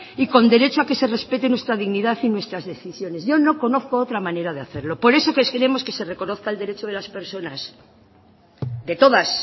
y con derecho a que se respete nuestra dignidad y nuestras decisiones yo no conozco otra manera de hacerlo por eso es que queremos que se reconozca el derecho de las personas de todas